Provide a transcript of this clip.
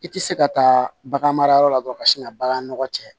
I tɛ se ka taa bagan mara yɔrɔ la dɔrɔn ka sin ka bagan nɔgɔ cɛ